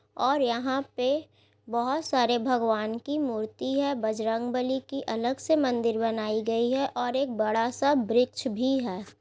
और यहाँ पे बहुत सारे भगवान की मूर्ति है बजरंग बली की अलग से मंदिर बनाई गई है और एक बड़ा सा बृक्ष भी है।